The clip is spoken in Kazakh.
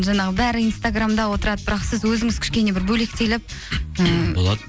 жаңағы бәрі инстаграмда отырады бірақ сіз өзіңіз кішкене бір бөлектеліп ііі болады